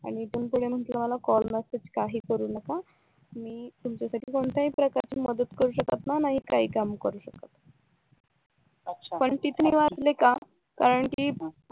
आणि इथून पुढे मला कॉल मेसेज काही करू नका मी तुमच्यासाठी कोणतीही मदत करू शकत नाही आणि कोणताही काम करू शकत नाही पण तिथे मी वाचले का कारण कि